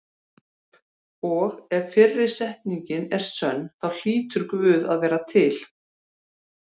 Og ef fyrri setningin er sönn þá hlýtur Guð að vera til.